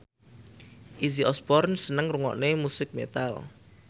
Izzy Osborne seneng ngrungokne musik metal